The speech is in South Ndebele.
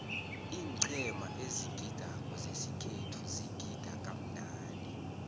iiqhema ezigidako zesikhethu zigida kamnandi